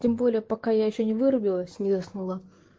тем более пока я ещё не вырубилась не заснула